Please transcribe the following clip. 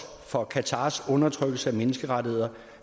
for qatars undertrykkelse af menneskerettigheder